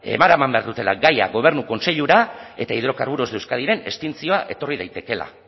eraman behar dutela gaia gobernu kontseilura eta hidrocarburos de euskadiren extintzioa etorri daitekeela